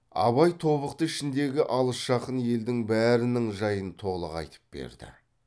абай тобықты ішіндегі алыс жақын елдің бәрінің жайын толық айтып берді